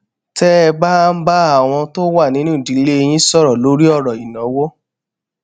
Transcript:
té ẹ bá ń bá àwọn tó wà nínú ìdílé yín sòrò lórí òrò ìnáwó